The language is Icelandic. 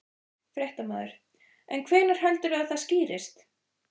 Fréttamaður: En hvenær heldurðu að það skýrist?